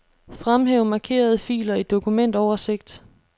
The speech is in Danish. Fremhæv markerede filer i dokumentoversigt.